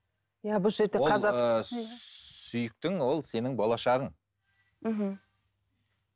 сүйіктің ол сенің болашағың мхм